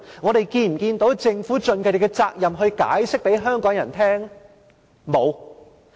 我們是否看到政府盡責任向香港人解釋？